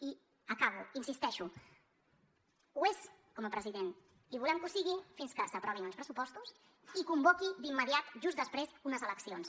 i acabo hi insisteixo ho és president i volem que ho sigui fins que s’aprovin uns pressupostos i convoqui d’immediat just després unes eleccions